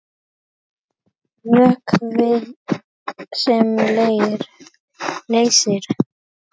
Vökvi sem leysir